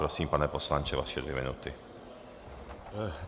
Prosím, pane poslanče, vaše dvě minuty.